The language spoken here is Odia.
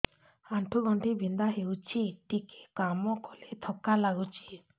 ଆଣ୍ଠୁ ଗଣ୍ଠି ବିନ୍ଧା ହେଉଛି ଟିକେ କାମ କଲେ ଥକ୍କା ଲାଗୁଚି